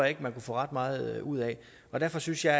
ikke man kunne få ret meget ud af derfor synes jeg